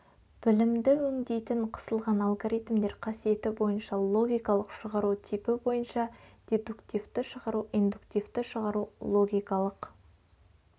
білімді өңдейтін қысылған алгоритмдер қасиеті бойынша логикалық шығару типі бойынша дедуктивті шығару индуктивті шығару логикалық